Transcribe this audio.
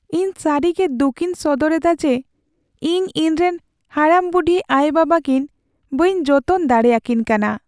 ᱤᱧ ᱥᱟᱹᱨᱤ ᱜᱮ ᱫᱩᱠᱤᱧ ᱥᱚᱫᱚᱨ ᱮᱫᱟ ᱡᱮ ᱤᱧ ᱤᱧᱨᱮᱱ ᱦᱟᱲᱟᱢᱼᱵᱩᱰᱷᱤ ᱟᱭᱳᱼᱵᱟᱵᱟ ᱠᱤᱱ ᱵᱟᱹᱧ ᱡᱚᱛᱚᱱ ᱫᱟᱲᱮᱭᱟᱠᱤᱱ ᱠᱟᱱᱟ ᱾